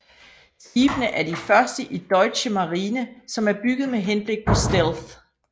Skibene er de første i Deutsche Marine som er bygget med henblik på stealth